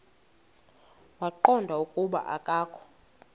waqonda ukuba akokho